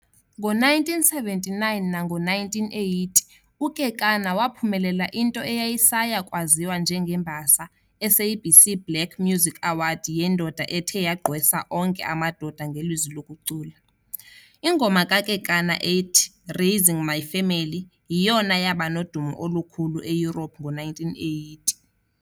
Ngo1979 nango1980, uKekana waphumelela into eyayisaya kwaziwa njengeMbasa SABC Black Music Award yendoda ethe yagqwesa onke amadoda ngelizwi lokucula. Ingoma kaKekana ethi "Raising My Family" yiyona yabanodumo olukhulu eEurope ngo1980.